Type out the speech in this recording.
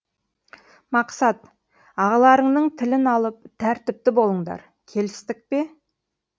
мақсат ағаларыңның тілін алып тәртіпті болыңдар келістік пе